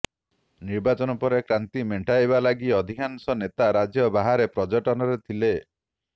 ନିର୍ବାଚନ ପରେ କ୍ଲାନ୍ତି ମେଣ୍ଟାଇବା ଲାଗି ଅଧିକାଂଶ େନତା ରାଜ୍ୟ ବାହାରେ ପର୍ଯ୍ୟଟନରେ ଥିଲେ